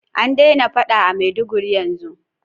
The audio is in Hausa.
An daina faɗa a maiduguri yanzun?